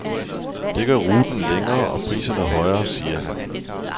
Det gør ruten længere og priserne højere, siger han.